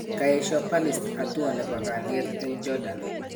kaesho palist hatua nebo kaliet eng Jordan